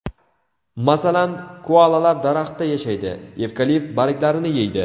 Masalan, koalalar daraxtda yashaydi, evkalipt barglarini yeydi.